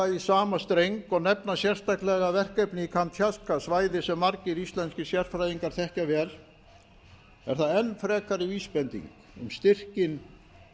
í sama streng og nefna sérstaklega verkefni í kamtsjatka svæði sem margir íslenskir sérfræðingar þekkja vel er það enn frekari vísbending um styrkinn